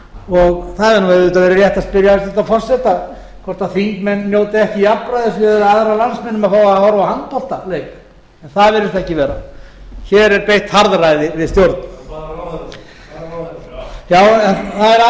og það hefði auðvitað verið rétt að spyrja hæstvirtan forseta hvort þingmenn njóti ekki jafnræðis miðað við aðra landsmenn um að fá að horfa á handboltaleik en það virðist ekki vera hér er beitt harðræði við stjórn það er aðeins einn